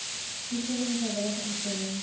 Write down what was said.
toestemming vrywillige instemming